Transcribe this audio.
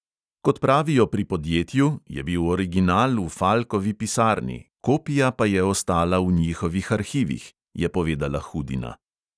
"Kot pravijo pri podjetju, je bil original v falkovi pisarni, kopija pa je ostala v njihovih arhivih," je povedala hudina.